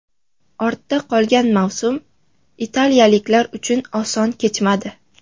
Ortda qolgan mavsum italiyaliklar uchun oson kechmadi.